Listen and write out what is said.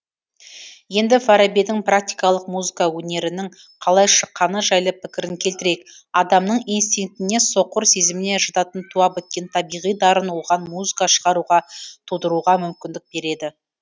енді фарабидің практикалық музыка өнерінің қалай шыққаны жайлы пікірін келтірейік адамның инстинктіне соқыр сезіміне жататын туа біткен табиғи дарын оған музыка шығаруға тудыруға мүмкіндік береді